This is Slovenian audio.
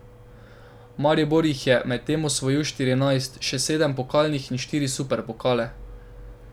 Maribor jih je medtem osvojil štirinajst, še sedem pokalnih in štiri superpokale.